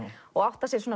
og áttar sig